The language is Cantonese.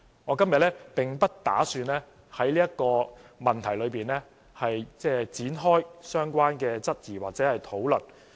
我今天並不打算在這個問題裏展開相關的質疑或討論。